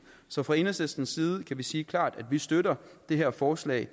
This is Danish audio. så fra enhedslistens side kan vi sige klart at vi støtter det her forslag